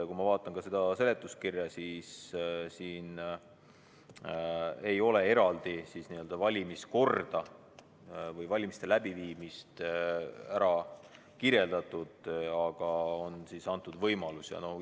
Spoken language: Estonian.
Kui ma vaatan seda seletuskirja, siis siin ei ole eraldi valimiskorda või valimiste läbiviimist kirjeldatud, aga on antud selline võimalus.